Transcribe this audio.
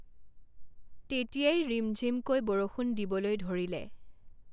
তেতিয়াই ৰিমঝিমকৈ বৰষুণ দিবলৈ ধৰিলে।